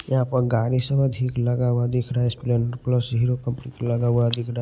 यहां पर गाड़ी सब अधिक लगा हुआ दिख रहा है स्पलेंडर प्लस हीरो कंपनी लगा हुआ दिख रहा है।